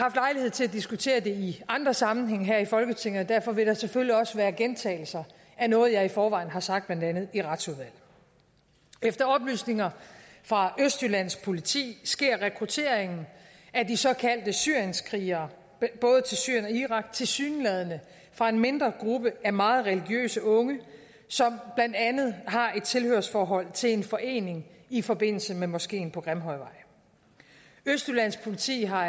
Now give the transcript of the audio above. til at diskutere det i andre sammenhænge her i folketinget og derfor vil der selvfølgelig også være gentagelser af noget jeg i forvejen har sagt blandt andet i retsudvalget efter oplysninger fra østjyllands politi sker rekrutteringen af de såkaldte syrienskrigerne både til syrien og irak tilsyneladende fra en mindre gruppe af meget religiøse unge som blandt andet har et tilhørsforhold til en forening i forbindelse med moskeen på grimhøjvej østjyllands politi har